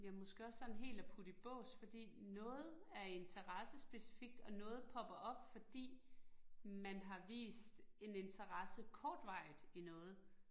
Ja måske også sådan helt at putte i bås fordi noget er interessespecifikt, og noget popper op fordi man har vist en interesse kortvarigt i noget